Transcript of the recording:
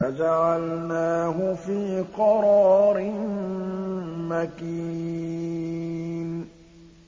فَجَعَلْنَاهُ فِي قَرَارٍ مَّكِينٍ